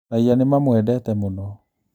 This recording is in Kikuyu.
Raia nĩmamwendete mũno